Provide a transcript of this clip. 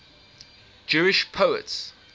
jewish poets